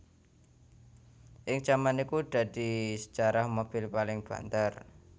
Ing jaman iku iki dadi sejarah mobil paling banter